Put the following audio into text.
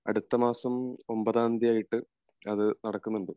അടുത്ത മാസം ഒമ്പതാന്തിയതി ആയിറ്റി അത് നടകുനുണ്ട്